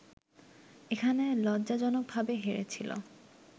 এখানে লজ্জাজনকভাবে হেরেছিল